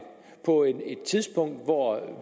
på et tidspunkt hvor